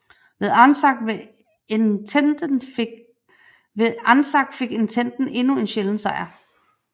Ved Anzac fik Ententen endnu en sjælden sejr